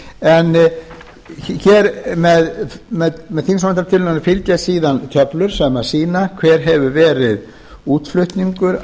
en með þingsályktunartillögunni fylgja síðan töflur sem sýna hver hefur verið útflutningur